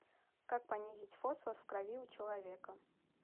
как понизить фосфор в крови у человека